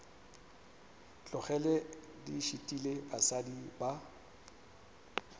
tlogele di šitile basadi ba